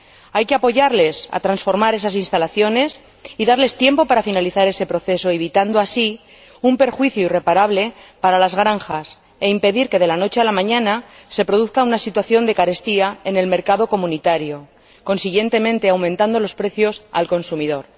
Hay que apoyarles en la transformación de esas instalaciones y darles tiempo para que finalicen ese proceso, evitando así un perjuicio irreparable para las granjas, e impedir que, de la noche a la mañana, se produzca una situación de carestía en el mercado comunitario, aumentando consiguientemente los precios al consumidor.